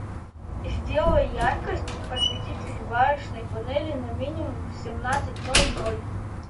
сделай яркость осветитель варочной панели на минимум в семнадцать ноль ноль